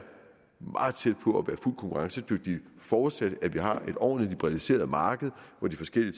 meget tæt på at konkurrencedygtige forudsat at vi har et ordentlig liberaliseret marked hvor de forskellige